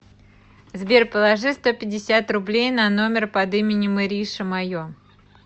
сбер положи сто пятьдесят рублей на номер под именем ириша мое